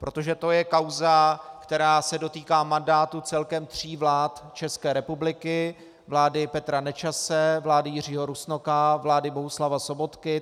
Protože to je kauza, která se dotýká mandátu celkem tří vlád České republiky - vlády Petra Nečase, vlády Jiřího Rusnoka, vlády Bohuslava Sobotky.